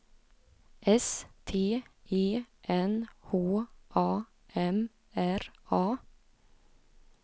S T E N H A M R A